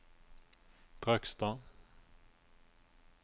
Trøgstad